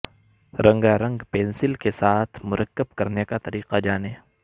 رنگا رنگ پنسل کے ساتھ مرکب کرنے کا طریقہ جانیں